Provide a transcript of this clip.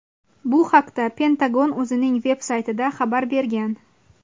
Bu haqda Pentagon o‘zining veb-saytida xabar bergan.